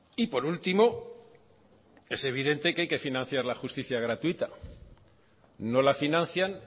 y por último es evidente que hay que financiar la justicia gratuita no la financian